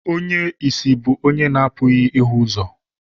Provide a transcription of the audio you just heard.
Onye ìsì bụ onye na-apụghị ịhụ ụzọ.